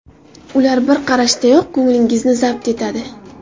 Ular bir qarashdayoq ko‘nglingizni zabt etadi.